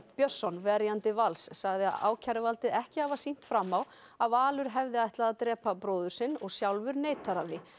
Björnsson verjandi Vals sagði ákæruvaldið ekki hafa sýnt fram á að Valur hefði ætlað að drepa bróður sinn og sjálfur neitar hann því